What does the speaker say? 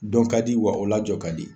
Dɔn ka di wa o la jɔ ka di